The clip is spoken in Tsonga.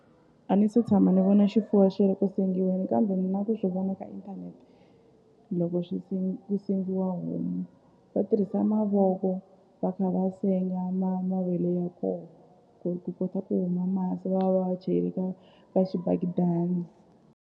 A ni se tshama ni vona xifuwo xi ri ku sengiweni kambe na ku swi vona ka inthanete loko swi ku sengiwa homu va tirhisa mavoko va kha va senga mavele ya koho ku ku kota ku huma masi va va chele ka ka xibakidani.